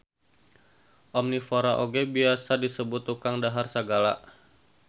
Omnivora oge biasa disebut tukang dahar sagala